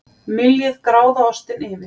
Myljið gráðaostinn yfir.